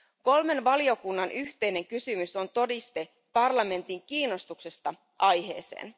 Kolmen valiokunnan yhteinen kysymys on todiste parlamentin kiinnostuksesta aiheeseen.